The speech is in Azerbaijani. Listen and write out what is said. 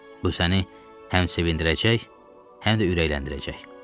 Bu səni həm sevindirəcək, həm də ürəkləndirəcək.